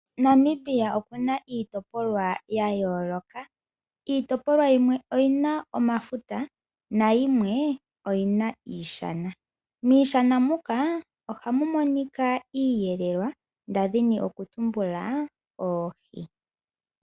Namibia oku na iitopolwa ya yooloka . Iitopolwa yimwe oyi na omafuta nayimwe oyi na iishana . Miishana muka ohamu monika Iiyelelwa ngaashi oohi.